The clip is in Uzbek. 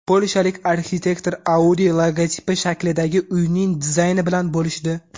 Polshalik arxitektor Audi logotipi shaklidagi uyning dizayni bilan bo‘lishdi .